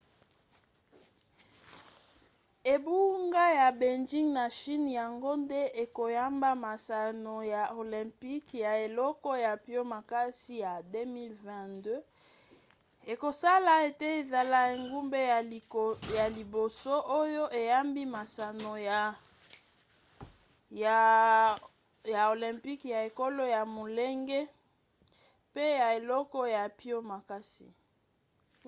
engumba ya beijing na chine yango nde ekoyamba masano ya olympiques ya eleko ya mpio makasi ya 2022 ekosala ete ezala engumba ya liboso oyo eyambi masano ya olympique ya eleko ya molunge mpe ya eleko ya mpio makasi